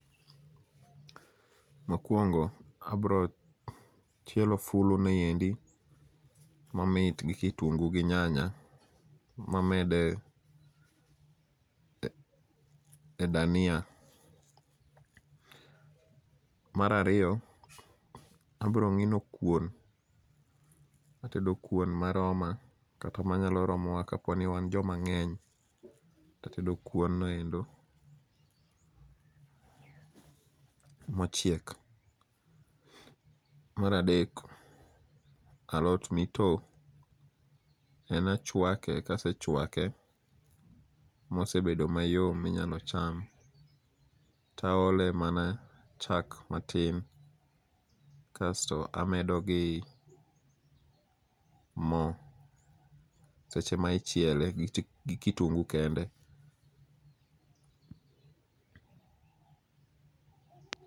Mokwongo abro chielo fulu niendi, momit kitungu gi nyanya mamed e dania. Marariyo, abro ng'ino kuon, atedo kuon maroma, kata manyalo romowa kapo ni wan joma ng'eny. Tatedo kuon noendo, machiek. Maradek, alot mito en achwake, kasechwake mosebedo mayom minyalo cham, taole mana chak matin. Kasto amedo gi mo, seche ma ichiele gi kitungu kende.